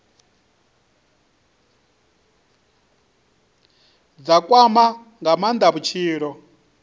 dza kwama nga maanda vhutshilo